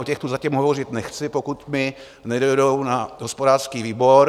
O těch tu zatím hovořit nechci, pokud mi nedojdou na hospodářský výbor.